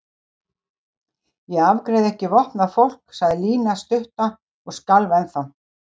Ég afgreiði ekki vopnað fólk sagði Lína stutta og skalf ennþá.